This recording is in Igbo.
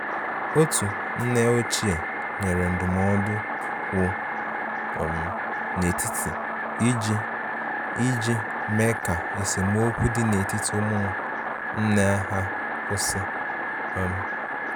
Otu nne ochie nyere ndụmọdụ kwụ um n' etiti iji iji mee ka esemokwi dị n'etiti ụmụnne ha kwụsị. um